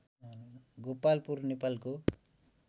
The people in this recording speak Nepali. गोपालपुर नेपालको